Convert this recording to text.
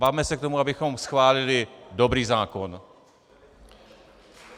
Bavme se k tomu, abychom schválili dobrý zákon.